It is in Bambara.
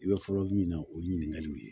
I bɛ fɔlɔ min na o ye ɲininkaliw ye